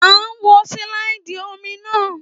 À ń wo sílàìdì omi náà